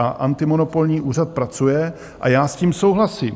A antimonopolní úřad pracuje a já s tím souhlasím.